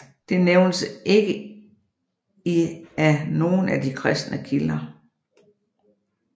Det nævnes ikke i af nogen af de kristne kilder